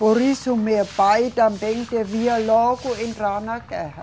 Por isso meu pai também devia logo entrar na guerra.